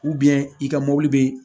i ka mɔbili bɛ